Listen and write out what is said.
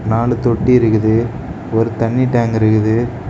நாலு தொட்டி இருக்குது ஒரு தண்ணி டேங்க் இருக்குது.